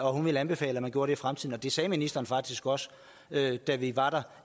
og at hun ville anbefale at man gjorde det i fremtiden og det sagde ministeren faktisk også da vi var der